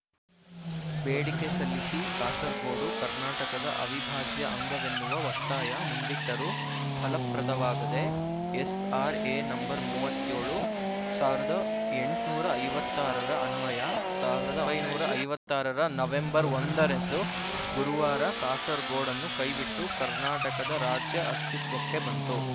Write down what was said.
ಬೇಡಿಕೆ ಸಲ್ಲಿಸಿ ಕಾಸರಗೋಡು ಕರ್ನಾಟಕದ ಅವಿಭಾಜ್ಯ ಅಂಗವೆನ್ನುವ ಒತ್ತಾಯ ಮುಂದಿಟ್ಟರೂ ಫಲಪ್ರದವಾಗದೆ ಎಸ್ಆರ್ಎ ನಂಬರ್ ಮೂವತ್ತ್ ಏಳು ಸಾವಿರದ ಎಂಟುನೂರ ಐವತ್ತ್ ಆರರ ಅನ್ವಯ ಸಾವಿರದ ಒಂಬೈನೂರ ಐವತ್ತ್ ಆರರ ನವ್ಹೆಂಬರ್ ಒಂದರಂದು ಗುರುವಾರ ಕಾಸರಗೋಡನ್ನು ಕೈ ಬಿಟ್ಟು ಕರ್ನಾಟಕ ರಾಜ್ಯ ಅಸ್ತಿತ್ವಕ್ಕೆ ಬಂತು